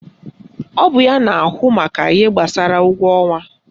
Ọ bụ ya na ahụ maka ihe gbasara ụgwọ ọnwa